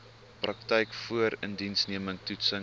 praktyk voorindiensneming toetsing